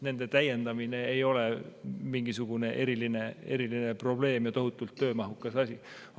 Nende täiendamine ei ole mingisugune eriline probleem ja tohutult töömahukas asi.